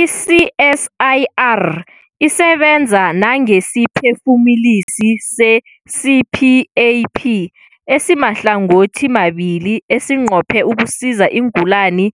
I-CSIR isebenza nangesiphefumulisi se-CPAP esimahlangothimabili esinqophe ukusiza iingulani